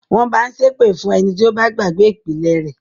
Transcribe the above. Wọ́n mọ ń ṣépè fún ẹni tí ó bá gbàgbé “ìpìlẹ̀” rẹ̀.